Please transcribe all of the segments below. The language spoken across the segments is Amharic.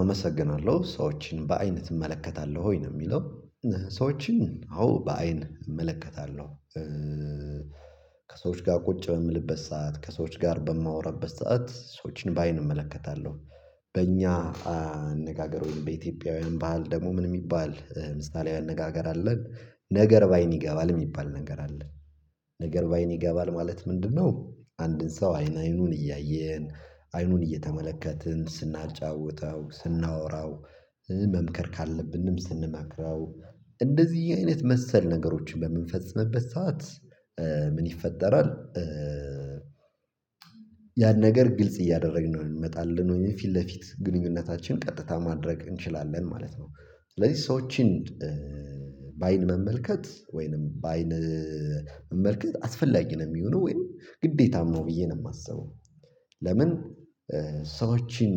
አመሰግናለሁ ሰዎችን በአይን ትመለከታለህ ወይ ነው የሚለው ሰዎችን አዎ በአይን እመለከታለሁ ከሰዎች ጋር ቁጭ በምልበት ሰዓት ከሰዎች ጋር በማወራበት ሰዓት ሰዎችን በአይን እመለከታለሁ በእኛ አነጋገር በኢትዮጵያውያን ባህል ደግሞ ምን የሚባል ምሳሌ አነጋገር አለን ነገር በአይን ይገባል የሚባል ነገር አለን ነገር በአይን ይገባል ማለት ምንድነው አንድን ሰው አይን አይኑን እያየን አይኑን እየተመለከትን ስናጫውተው ስናወራው መምከር ካለብንም ስንመክረው እንደዚህ አይነት መሰል ነገሮችን በምንፈጽምበት ሰዓት ምን ይፈጠራል ያን ነገር ግልጽ እያደረግነው እንመጣለን ወይም ፊት ለፊት ግንኙነታችን ቀጥታ ማድረግ እንችላለን ማለት ነው ስለዚህ ሰዎችን በአይን መመልከት ወይንም በአይን መመልከት አስፈላጊ ነው የሚሆነው ወይም ግዴታም ነው ብዬ ነው የማስበው ለምን ሰዎችን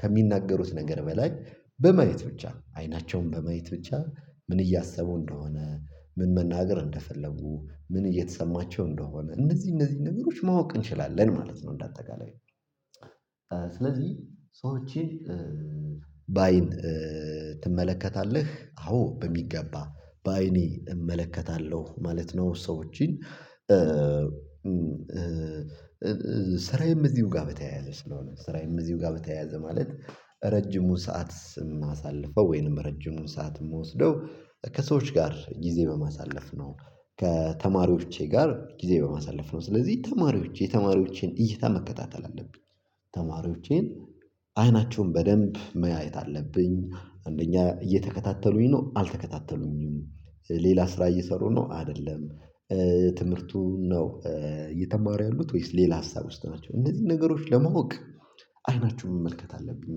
ከሚናገሩት ነገር በላይ በማየት ብቻ ነው አይናቸውን በማየት ብቻ ምን እያሰቡ እንደሆነ ምን መናገር እንደፈለጉ ምን እየተሰማቸው እንደሆነ እነዚህ እነዚህ ነገሮች ማወቅ እንችላለን ማለት ነው እንዳጠቃላይ ስለዚህ ሰዎችን በአይን ትመለከታለህ አዎ በሚገባ በአይኔ እመለከታለሁ ማለት ነው ሰዎችን ስራዬም እዚሁ ጋር በተያያዘ ስለሆነ ስራዬም እዚሁ ጋር በተያያዘ ማለት ረጅሙን ሰዓት የማሳልፈው ወይንም ረጅሙን ሰዓት የምወስደው ከሰዎች ጋር ጊዜ በማሳለፍ ነው ከተማሪዎቼ ጋር ጊዜ በማሳለፍ ነው ስለዚህ ተማሪዎቼ የተማሪዎቼን እይታ መከታተል አለብኝ ተማሪዎቼን አይናቸውን በደንብ ማየት አለብኝ አንደኛ እየተከታተሉኝ ነው አልተከታተሉኝም ሌላ ስራ እየሰሩ ነው አይደለም ትምህርቱን ነው እየተማሩ ያሉት ወይስ ሌላ ሀሳብ ውስጥ ናቸው እነዚህን ነገሮች ለማወቅ አይናችሁን መመልከት አለብኝ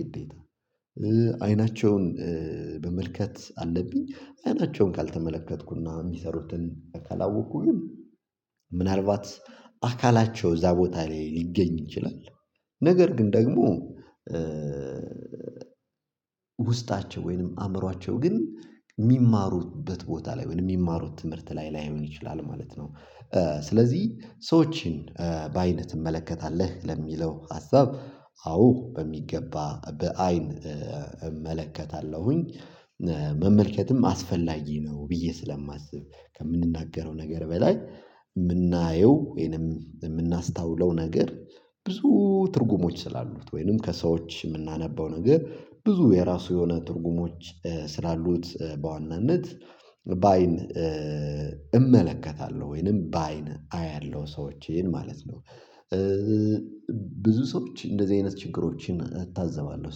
ግዴታ አይናቸውን መመልከት አለብኝ አይናቸውን ካልተመለከትኩና የሚሰሩትን ካላወቅኩ ግን ምናልባት አካላቸው እዛ ቦታ ላይ ሊገኝ ይችላል ነገር ግን ደግሞ ውስጣቸው ወይንም አእምሯቸው ግን የሚማሩበት ቦታ ላይ ወይንም የሚማሩት ትምህርት ላይ ላይሆን ይችላል ማለት ነው ስለዚህ ሰዎችን በአይን ትመለከታለህ ለሚለው ሀሳብ አዎ በሚገባ በአይን እመለከታለሁኝ መመልከትም አስፈላጊ ነው ብዬ ስለማስብ ከምንናገረው ነገር በላይ የምናየው ወይንም የምናስተውለው ነገር ብዙ ትርጉሞች ስላሉት ወይንም ከሰዎች የምናነበው ነገር ብዙ የራሱ የሆነ ትርጉሞች ስላሉት በዋናነት በአይን እመለከታለሁ ወይንም በአይን አያለሁ ሰዎችን ማለት ነው ብዙ ሰዎች እንደዚህ አይነት ችግሮችን እታዘባለሁ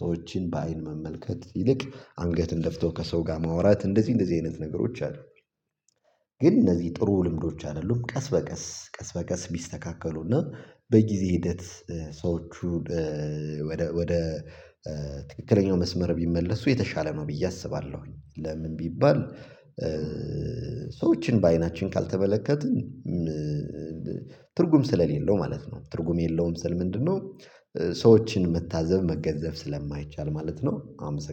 ሰዎችን በአይን መመልከት ይልቅ አንገት እንደፍተው ከሰው ጋር ማውራት እንደዚህ እንደዚህ አይነት ነገሮች አሉ። ግን እነዚህ ጥሩ ልምዶች አይደሉም ቀስ በቀስ ቀስ በቀስ ቢስተካከሉና በጊዜ ሂደት ሰዎቹን ወደ ወደ ትክክለኛው መስመር ቢመለሱ የተሻለ ነው ብዬ አስባለሁኝ ለምን ቢባል ሰዎችን በአይናችን ካልተመለከትን ትርጉም ስለሌለው ማለት ነው ትርጉም የለውም ስል ምንድነው ሰዎችን መታዘብ መገንዘብ ስለማይቻል ማለት ነው አመሰግና